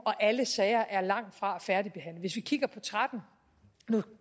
og alle sager er langtfra færdigbehandlet hvis vi kigger på tretten nu